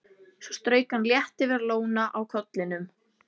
Svo strauk hann létt yfir lóna á kollinum.